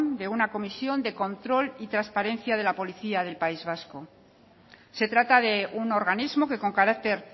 de una comisión de control y trasparencia de la policía del país vasco se trata de un organismo que con carácter